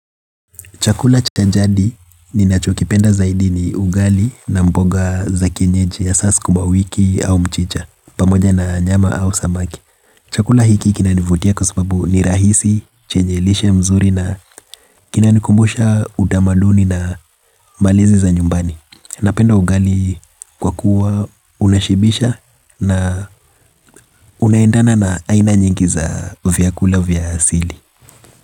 Chakula cha jadi ninachokipenda zaidi ni ugali na mboga za kienyeji hasa sukuma wiki au mchicha, pamoja na nyama au samaki. Chakula hiki kinanivutia kwa sababu ni rahisi, chenye lishe mzuri na kinanikumbusha utamaduni na malezi za nyumbani. Napenda ugali kwa kuwa unashibisha na unaendana na aina nyingi za vyakula vya asili.